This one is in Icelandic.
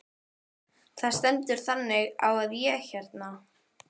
Það stendur þannig á að ég hérna.